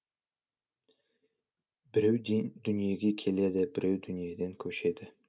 біреу дүниеге келеді біреу дүниеден көшеді